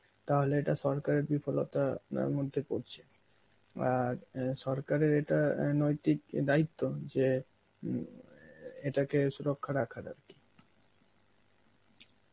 তাহলে এটা সরকারে বিফলতা~ তার মধ্যে পড়ছে. আর অ্যাঁ সরকারের এটা অ্যাঁ নৈতিক দায়িত্ব যে হম এ এটাকে সুরক্ষা রাখার আর কি.